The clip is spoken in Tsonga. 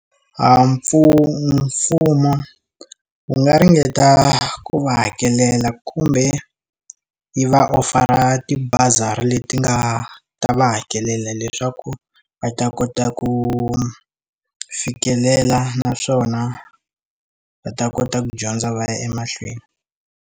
Mfumo wu nga ringeta ku va hakelela kumbe yi va ofara ti bazari leti nga ta va hakelela leswaku va ta kota ku fikelela naswona va ta kota ku dyondza va ya emahlweni.